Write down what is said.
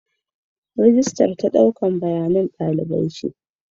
Rijistar shine don ɗaukar rikodin ɗalibai.